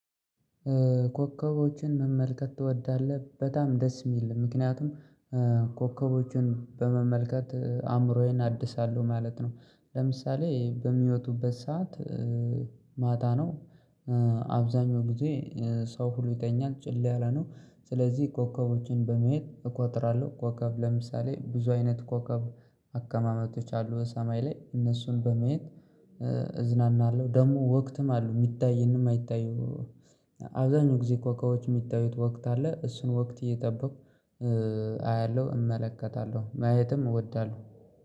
ኮከቦችን መመልከት ትወዳለህ በጣም ደስ ሚል ምክንያቱም ኮከቦችን በመመልከት አእምሮዬን አድሳለሁ ማለት ነው። ለምሳሌ በሚወጡበት ሰዓት ማታ ነው። አብዛኛው ጊዜ ሰው ሁሉ ይተኛል ጭል ያለ ነው። ስለዚህ ኮከቦችን በማየት እቆጥራለሁ ኮከብ ለምሳሌ ብዙ አይነት ኮከብ አከማመጦች አሉ በሰማይ ላይ። በማየት እዝናናለሁ ደግሞ ወቅትም አሉ ሚታየንም ማይታዩ። አብዛኛው ጊዜ ኮኮቦች የሚታዩት ወቅት አለ እሱን ወቅት እየጠበኩ አያለሁ እመለከታለሁ ማየትም እወዳለሁ።